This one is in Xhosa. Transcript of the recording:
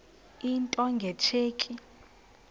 into nge tsheki